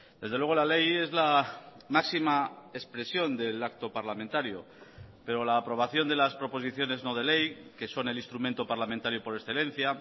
desde luego la ley es la máxima expresión del acto parlamentario pero la aprobación de las proposiciones no de ley que son el instrumento parlamentario por excelencia